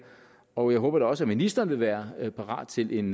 og jeg håber da også at ministeren vil være parat til en